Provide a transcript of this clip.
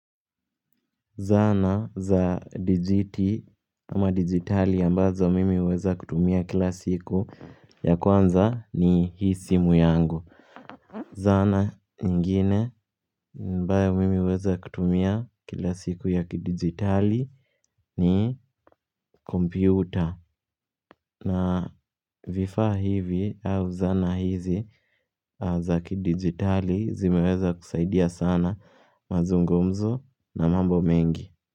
Zana za dijiti ama digitali ambazo mimi uweza kutumia kila siku ya kwanza ni hii simu yangu Zana nyingine ambae mimi uweza kutumia kila siku ya kidigitali ni kompyuta na vifaa hivi au zana hizi za kidigitali zimeweza kusaidia sana mazungumzo na mambo mengi.